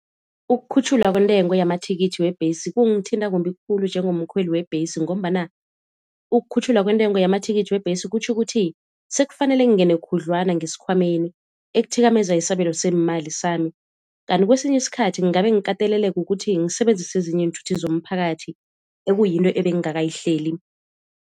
Ukukhutjhulwa kwentengo yamathikithi webhesi kungithinta kumbi khulu njengomkhweli webhesi, ngombana ukukhutjhulwa kwentengo yamathikithi webhesi kutjho ukuthi sekufanele ngingene khudlwana ngesikhwameni ekuthikamezeka isabelo seemali sami. Kanti kwesinye isikhathi kungabe ngikateleleke ukuthi ngisebenzise ezinye iinthuthi zomphakathi ekuyinto ebengingakayihleli.